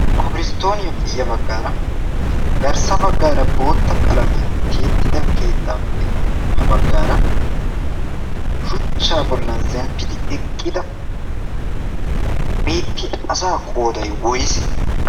kofiristtooniyaappe ya baggaara garssa baggaara bootta qalamiyan teettida keettaappe ha baggaara shuchchaa bollan zemppidi eqqida beetti asa qooday woyse